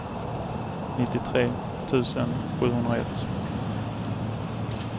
nittiotre tusen sjuhundraett